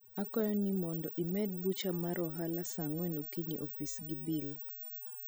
akwayo ni mondo imed bucha mar ohala saa angwen okinyi e ofis gi bill